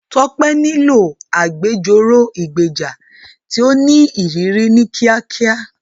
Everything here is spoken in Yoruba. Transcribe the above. Tope nílò agbẹjọ́rò ìgbèjà tí ó ní ìrírí ní kíákíá.